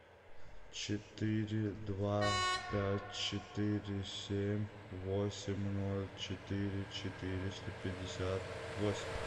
четыре два пять четыре семь восемь ноль четыре четыреста пятьдесят восемь